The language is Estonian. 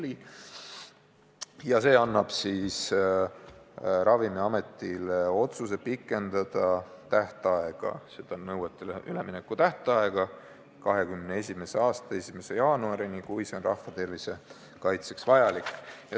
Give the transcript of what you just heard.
Eelnõu kohaselt antaks Ravimiametile õigus pikendada uutele nõuetele ülemineku tähtaega 2021. aasta 1. jaanuarini, kui see on rahva tervise huvides vajalik.